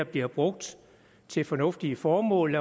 bliver brugt til fornuftige formål